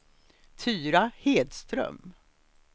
Tyra Hedström